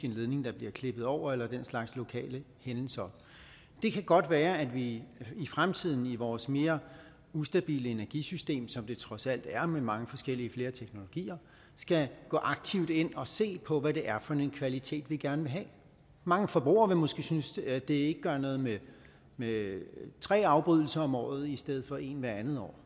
en ledning der bliver klippet over eller den slags lokale hændelser det kan godt være at vi i fremtiden i vores mere ustabile energisystem som det trods alt er med mange forskellige flere teknologier skal gå aktivt ind og se på hvad det er for en kvalitet vi gerne vil have mange forbrugere vil måske synes at det ikke gør noget med med tre afbrydelser om året i stedet for en hvert andet år